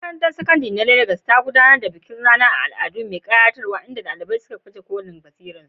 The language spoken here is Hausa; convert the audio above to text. Makarantar Sakandare ta Legas ta gudanar da bikin ranar al'adu mai ƙayatarwa inda ɗalibai ke baje kolin basirarsu.